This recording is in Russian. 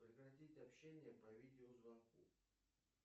прекратить общение по видео звонку